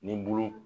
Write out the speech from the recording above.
Ni bulu